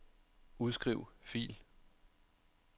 Udskriv fil.